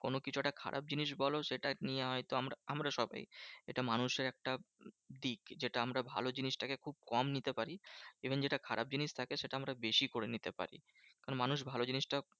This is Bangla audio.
কোনোকিছু একটা খারাপ জিনিস বোলো সেটা নিয়ে হয়তো আমরা আমরা সবাই এটা মানুষের একটা দিক। যেটা আমরা ভালো জিনিসটাকে খুব কম নিতে পারি। even যেটা খারাপ জিনিস তাকে সেটা আমরা বেশি করে নিতে পারি। কারণ মানুষ ভালো জিনিসটা